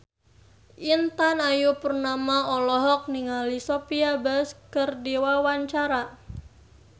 Intan Ayu Purnama olohok ningali Sophia Bush keur diwawancara